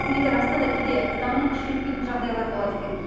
біздің елде расында да кейде заңның күші жетпейтін жағдайлар болады екен